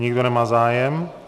Nikdo nemá zájem.